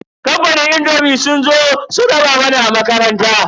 Kamfanin indomi sun zo sun raba mana a makaranta.